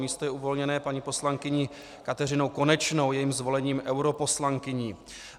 Místo je uvolněné paní poslankyní Kateřinou Konečnou jejím zvolením europoslankyní.